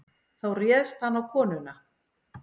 Þá réðst hann á konuna.